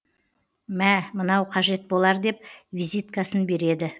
мә мынау қажет болар деп визиткасын береді